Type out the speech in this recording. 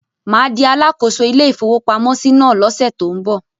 Mà á di alákòóso ilé-ìfowópamọ́sí náà lọ́sẹ̀ tó ń bọ̀.